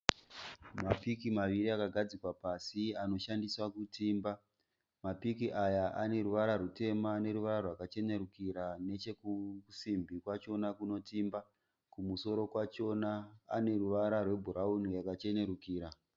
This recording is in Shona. Mapiki maviri akagadzikwa pasi anoshandiswa kutimba. Mapiki aya aneruvara rwutema neruvara rwakachenerukira nechekusimbi kwachona kunotimba. Kumusoro kwachona aneruvara rwebhurauni yakachenerukira.